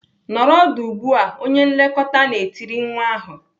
"Nọrọ ọdụ ugbu a!" Onye nlekọta na-etiri nwa ahụ.